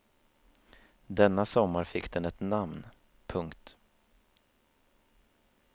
Denna sommar fick den ett namn. punkt